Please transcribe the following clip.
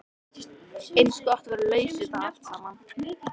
Eins gott að vera laus við það allt saman.